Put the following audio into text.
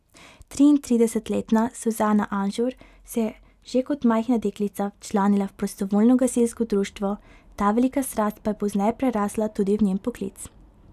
Triintridesetletna Suzana Anžur se je že kot majhna deklica včlanila v prostovoljno gasilsko društvo, ta velika strast pa je pozneje prerasla tudi v njen poklic.